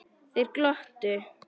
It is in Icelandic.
Þeir glottu.